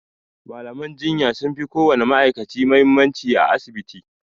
malaman jinya sunfi ko wani ma'aikaci muhimmanci a asibiti